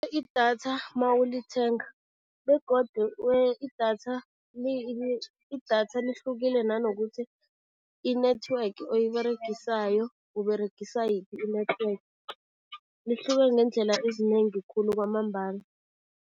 Idatha mawulithenga begodu idatha idatha lihlukile nanokuthi i-network oyiberegisayo, Uberegisa yiphi i-network. Lihluke ngeendlela ezinengi khulu kwamambala.